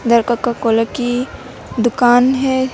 उधर Coca Cola की दुकान है।